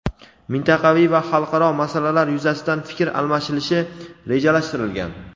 mintaqaviy va xalqaro masalalar yuzasidan fikr almashilishi rejalashtirilgan.